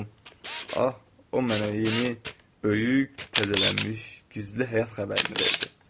Ah, o mənə yeni, böyük, təzələnmiş, güclü həyat xəbərini verdi.